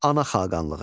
Ana xaqanlığı.